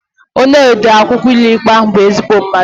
Onye ode akwụkwọ ụlọikpe ahụ bụ ezigbo mmadụ